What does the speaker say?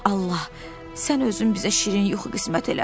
Allah, sən özün bizə şirin yuxu qismət elə.